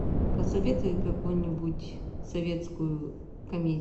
посоветуй какую нибудь советскую комедию